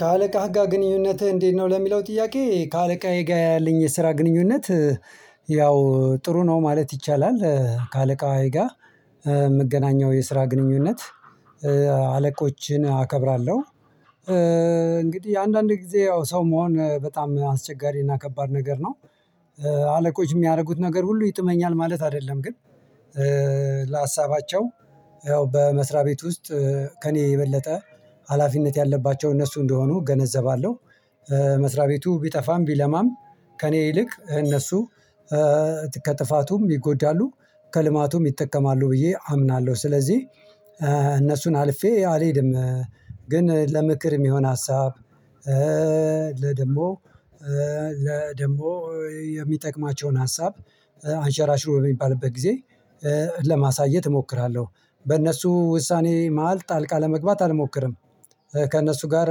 ከአለቃህጋ ግንኙነትህ እንዴት ነው ለሚለው ጥያቄ ከአለቃዬጋር ያለኝ የስራ ግንኙነት ያው ጥሩ ነው ማለት ይቻላል። ከአለቃዬጋር የምገናኘው የስራ ግንኙነት አከብራለሁ። እንግዲህ አንዳንድ ጊዜ ያው ሰው መሆን በጣም አስቸጋሪና ከባድ ነገር ነው። አለቆች የሚያደርጉት ነገር ሁሉ ይጥመኛል ማለት አይደለም ግን ለሀሳባቸው ያው በመስሪያ ቤት ውስጥ ከእኔ የበለጠ ሀላፊነት ያለባቸው እነሱ እንደሆኑ እገነዘባለሁ። መስሪያ ቤቱ ቢጠፋም ቢለማም ከእኔ ይልቅ እነሱ ከጥፋቱም ይጎዳሉ ከልማቱም ይጠቀማሉ ብዬ አምናለሁ። ስለዚህ እነሱን አልፌ አልሄድም። ግን ለምክር የሚሆን ሀሳብ ደሞ ለደሞ የሚጠቅማቸውን ሀሳብ አንሸራሽሮ የሚባልበት ጊዜ ለማሳየት እሞክራለሁ። በእነሱ ውሳኔ መሃል ጣልቃ ለመግባት አልሞክርም። ከእነሱ ጋር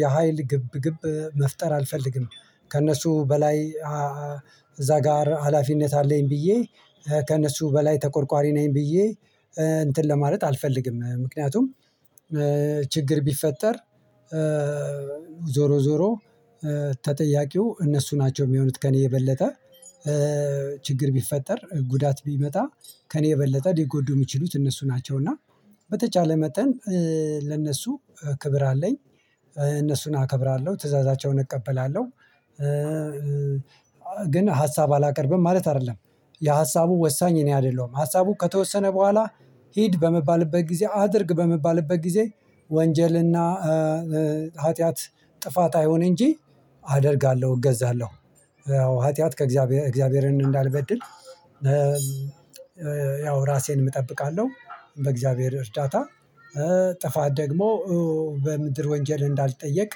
የሀይል ግብ ግብ መፍጠር አልፈልግም። ከእነሱ በላይ ጋር ሀላፊነት አለኝ ብዬ ከእነሱ በላይ ተቆርቋሪ ነኝ ብዬ እንትን ለማለት አልፈልግም። ምክንያቱም ችግር ቢፈጠር ዞሮ ዞሮ ተጠያቂው እነሱ ናቸው የሚሆኑት ከእኔ የበለጠ ችግር ቢፈጠር ጉዳት ቢመጣ ከእኔ የበለጠ ሊጎዱ የሚችሉት እነሱ ናቸው። እና በተቻለ መጠን ለእነሱ ክብር አለኝ እነሱን አከብራለሁ ትእዛዛቸውን እቀበላለሁ። ግን ሀሳብ አላቀርብም ማለት አይደለም የሀሳቡ ወሳኝ እኔ አይደለሁም። ሀሳቡ ከተወሰነ በኋላ ሂድ በመባልበት ጊዜ አድርግ በመባልበት ጊዜ ወንጀል እና ሀጢያት ጥፋት አይሆን እንጂ አደርጋለሁ እገዛለሁ። ያው ኃጢአት ከእግዚአብሔር እግዚአብሔርን እንዳልበድል ያው ራሴን እጠብቃለሁ። በእግዚአብሔር እርዳታ ጥፋት ደግሞ በምድር ወንጀል እንዳልጠየቅ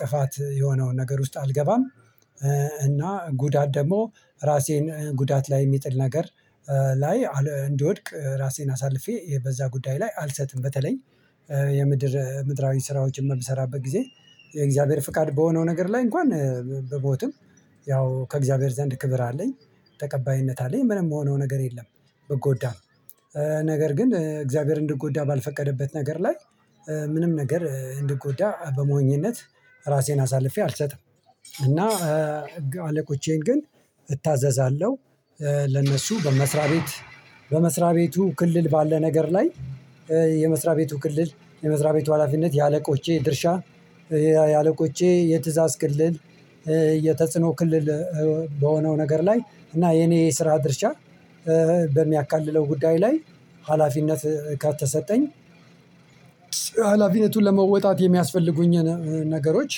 ጥፋት የሆነውን ነገር ውስጥ አልገባም። እና ጉዳት ደግሞ ራሴን ጉዳት ላይ የሚጥል ነገር ላይ እንድወድቅ ራሴን አሳልፌ በዛ ጉዳይ ላይ አልሰጥም። በተለይ የምድር ምድራዊ ስራው ጭምር ብሰራበት ጊዜ የእግዚአብሔር ፍቃድ በሆነው ነገር ላይ እንኳን ብሞትም ያው ከእግዚአብሔር ዘንድ ክብር አለኝ ተቀባይነት አለኝ ምንም የምሆነው ነገር የለም። ብጎዳም ነገር ግን እግዚአብሔር እንድጎዳ ባልፈቀደበት ነገር ላይ ምንም ነገር እንድጎዳ በሞኝነት ራሴን አሳልፌ አልሰጥም። እና አለቆቼን ግን እታዘዛለሁ ለነሱ በመስሪያ ቤት በመስሪያ ቤቱ ክልል ባለ ነገር ላይ የመስሪያ ቤቱ ክልል የመስሪያ ቤቱ ሀላፊነት የአለቆቼ ድርሻ ያለቆቼ የትእዛዝ ክልል የተጽኖ ክልል በሆነው ነገር ላይ እና የኔ የስራ ድርሻ በሚያካልለው ጉዳይ ላይ ሀላፊነት ካልተሰጠኝ አላፊነቱን ለመወጣት የሚያስፈልጉኝ ነገሮች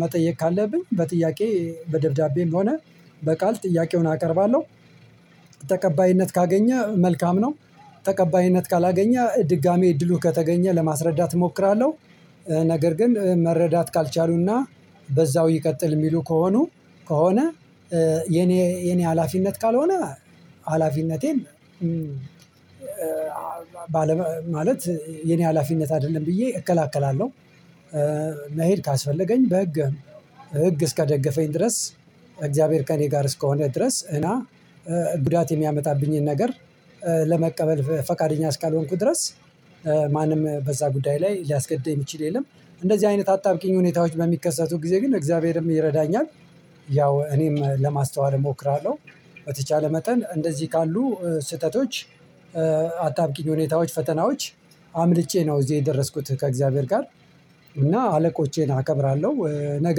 መጠየቅ ካለብኝ በጥያቄ በደብዳቤም ሆነ በቃል ጥያቄውን አቀርባለሁ። ተቀባይነት ካገኘ መልካም ነው ተቀባይነት ካላገኘ ድጋሜ እድሉ ከተገኘ ለማስረዳት እሞክራለሁ። ነገር ግን መረዳት ካልቻሉ እና በዛው ይቀጥል የሚሉ ከሆኑ ከሆነ የኔ የኔ ሀላፊነት ካልሆነ ሀላፊነቴን ባለ ማለት የኔ ሀላፊነት አይደለም ብዬ እከላከላለሁ። መሄድ ካስፈለገኝ በህግ ህግ እስከደገፈኝ ድረስ እግዚአብሔር ከእኔ ጋር እስከሆነ ድረስ እና ጉዳት የሚያመጣብኝን ነገር ለመቀበል ፈቃደኛ እስካልሆንኩ ድረስ ማንም በዛ ጉዳይ ላይ ሊያስገድደኝ የሚችል የለም። እንደዚህ አይነት አጣብቂኝ ሁኔታዎች በሚከሰቱ ጊዜ ግን እግዚአብሔርም ይረዳኛል። እኔም ለማስተዋል እሞክራለሁ በተቻለ መጠን እንደዚህ ካሉ ስህተቶች አጣብቂኝ ሁኔታዎች ፈተናዎች አምልጬ ነው እዚህ የደረስኩት ከእግዚአብሔር ጋር እና አለቆቼን አከብራለሁ። ነገ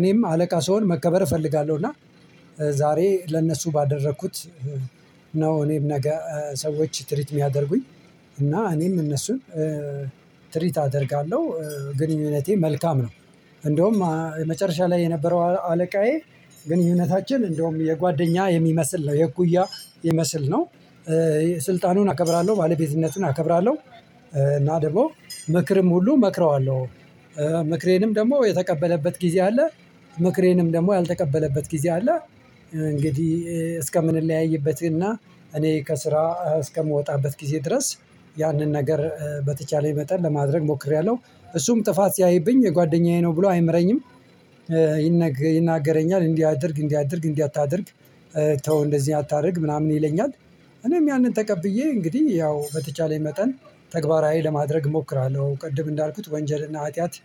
እኔም አለቃ ስሆን መከበር እፈልጋለሁ እና ዛሬ ለእነሱ ባደረኩት ነው እኔም ነገ ሰዎች ትሪት የሚያደርጉኝ እና እኔም እነሱን ትሪት አደርጋለሁ። ግንኙነቴ መልካም ነው እንደውም መጨረሻ ላይ የነበረው አለቃዬ ግንኙነታችን እንደውም የጓደኛ የሚመስል ነው የእኩያ የሚመስል ነው። ስልጣኑን አከብራለሁ ባለቤዝነቱን አከብራለሁ እና ደግሞ ምክርም ሁሉ እመክረዋለሁ ምክሬንም ደግሞ የተቀበለበት ጊዜ አለ። ምክሬንም ደግሞ ያልተቀበለበት ጊዜ አለ። እንግዲህ እስከምንለያይበት እና እኔ ከስራ እስከምወጣበት ጊዜ ድረስ ያንን ነገር በተቻለኝ መጠን ለማድረግ ሞክሬያለሁ። እሱም ጥፋት ሲያይብኝ ጓደኛዬ ነው ብሎ አይምረኝም ይናገረኛል እንዲህ አድርግ እንዲህ አድርግ እንዲህ አታድርግ ተው እንደዚህ አታድርግ ምናምን ይለኛል። እኔም ያንን ተቀብዬ እንግዲህ ያው በተቻለኝ መጠን ተግባራዊ ለማድረግ እሞክራለሁ ቅድም እንዳልኩት ወንጀል እና ኃጢአት